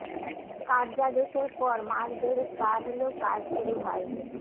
কার্যাদেশের পর মাস দেড়েক পার হলেও কাজ শুরু হয়নি